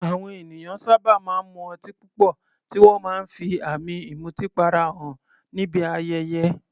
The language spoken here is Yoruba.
Àwọn ènìyàn sábà máa ń mu ọtí púpọ̀, tí wọ́n máa ń fi àmì ìmutípara hàn níbi ayẹyẹ.